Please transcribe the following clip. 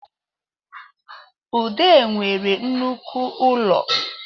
Ude nwere nnoko ụlọ